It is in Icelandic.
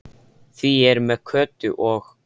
Því ég er með Kötu og